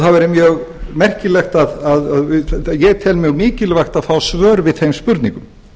það væri mjög merkilegt að ég ef mjög mikilvægt að fá svör við þeim spurningum